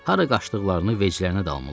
Hara qaçdıqlarını veclərinə dalmırlar.